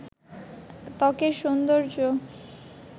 ত্বকের সৌন্দর্য